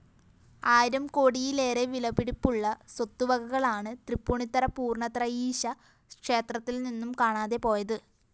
ആയിരം കോടിയിലേറെ വിലപിടിപ്പുള്ള സ്വത്തുവകകളാണ് തൃപ്പൂണിത്തറ പൂര്‍ണ്ണത്രയീശ ക്ഷേത്രത്തില്‍നിന്നും കാണാതെപോയത്